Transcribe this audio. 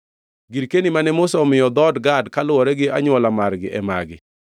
Girkeni mane Musa omiyo dhood Gad kaluwore gi anywola margi e magi: